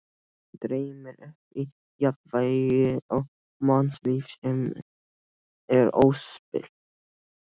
Mig dreymir um jafnvægi og mannlíf sem er óspillt.